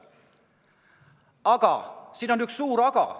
Aga siin on üks suur "aga".